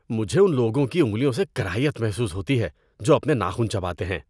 مجھے ان لوگوں کی انگلیوں سے کراہیت محسوس ہوتی ہے جو اپنے ناخن چباتے ہیں۔